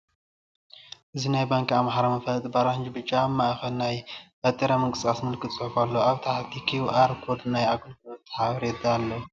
እዚ ናይ ባንኪ ኣምሓራ መፋለጢ ብኣራንሺን ብጫን፣ ኣብ ማእኸል ናይ ባጤራ ምንቅስቓስ ምልክታ ፅሑፍ ኣለዎ። ኣብ ታሕቲ" ኪውኣር" ኮድን ናይ ኣገልግሎት ሓበሬታን ኣለዎ።